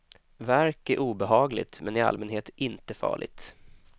Värk är obehagligt men i allmänhet inte farligt.